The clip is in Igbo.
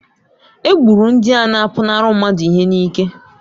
Egburu ndị a na-apụnara mmadụ ihe niile.